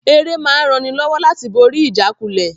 Ère máa ń ran ni lọ́wọ́ láti borí ìjákulẹ̀